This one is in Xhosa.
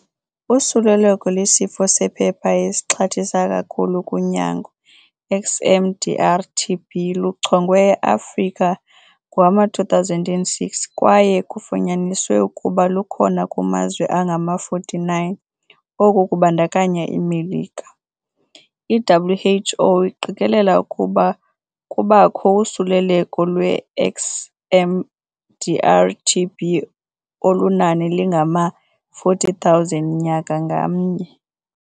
Usuleleko lwesifo sephepha esixhathisa kakhulu kunyango, XMDR-TB, luchongwe eAfrika ngowama-2006, kwaye kufunyaniswe ukuba lukhona kumazwe angama-49 - oku kubandakanya iMelika. I-WHO iqikelela ukuba kubakho usuleleko lweXMDR-TB olunani lingama-40 000 nyaka ngamnye.